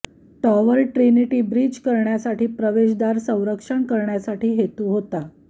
tower Trinity bridge करण्यासाठी प्रवेशद्वार संरक्षण करण्यासाठी हेतू होता